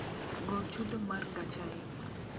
gol chudo mar gacha e